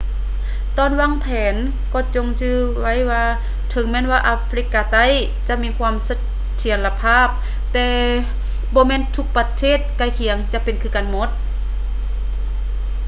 ຕອນວາງແຜນກໍຈົ່ງຈື່ໄວ້ວ່າເຖິງແມ່ນວ່າອາຟຣິກາໃຕ້ຈະມີຄວາມສະເຖຍລະພາບແຕ່ບໍ່ແມ່ນທຸກປະເທດໃກ້ຄຽງຈະເປັນຄືກັນໝົດ